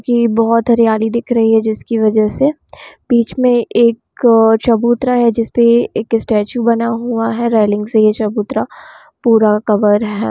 जी बहुत हरियाली दिख रही है जिसकी वजह से बिच में एक चबूतरा है जिसमें एक स्टेचू बना हुआ हैरीलिंग से यह चबूतरा पूरा कवर है |